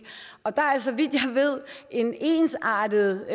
og der er så vidt jeg ved en ensartet